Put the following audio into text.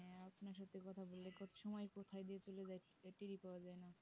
কোথায় দিয়ে চলে যাই টেরই পাওয়া যায় না